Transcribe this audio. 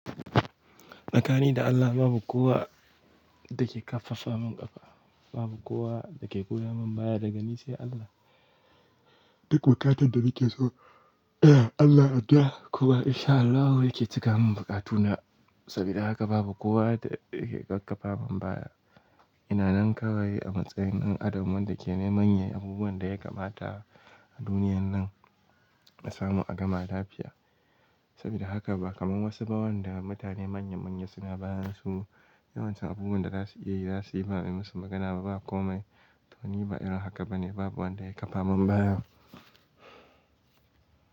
Makani da Allah babu kowa da ke ƙaffafa min ƙafa, babu kowa da ke goya min baya daga ni sai Allah. Duk buƙatar da nike so Allah a da kuma insha Allahu yake cika mun buƙatu na saboda haka babu kowa da yake ƙaffafa min baya. Ina nan kawai a matsayin ɗan adam wanda ke neman yin abubuwan da ya kamata a duniyar nan na samu a gama lafiya. Saboda haka ba kamar wasu bawani da mutane manya manya suna ba musu, yawancin abubuwan da za su iya yi za su yi ba mai musu magana ba. Ba kome tuni ba irin haka bane. Babu wanda ya ƙafa min baya.